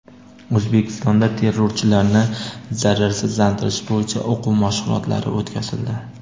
O‘zbekistonda terrorchilarni zararsizlantirish bo‘yicha o‘quv mashg‘ulotlari o‘tkazildi.